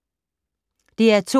DR2